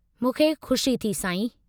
मूंखे ख़ुशी थी, साईं।